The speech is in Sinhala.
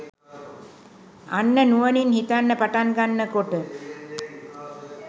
අන්න නුවණින් හිතන්න පටන් ගන්න කොට